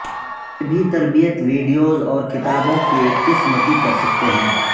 یہ بھی تربیت ویڈیوز اور کتابوں کی ایک قسم کی کر سکتے ہیں